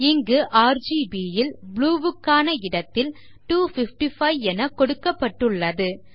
இங்கு RGB ல் blue க்கான இடத்தில் 255 எனக் கொடுக்கப்பட்டுள்ளது